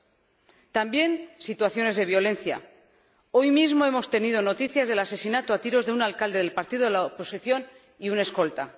Hay también situaciones de violencia hoy mismo hemos tenido noticia del asesinato a tiros de un alcalde del partido de la oposición y de un escolta.